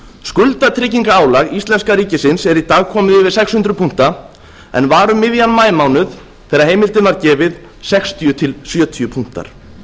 skuldatryggingarálag íslenska ríkisins er í dag komið yfir sex hundruð punkta en var um miðjan maímánuð þegar heimildin var gefin sextíu til sjötíu punktar